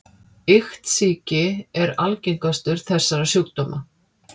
Iktsýki er algengastur þessara sjúkdóma.